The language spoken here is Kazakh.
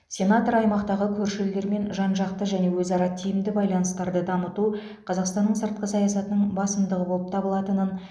сенатор аймақтағы көрші елдермен жан жақты және өзара тиімді байланыстарды дамыту қазақстанның сыртқы саясатының басымдығы болып табылатынын